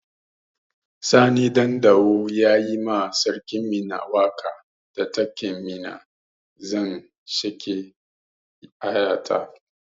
Sani Ɗandawo ya yi ma sarkin Minna waƙa da taken "Minna zan sheƙe aya ta"